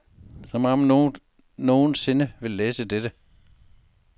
Som om nogen nogen sinde ville læse den.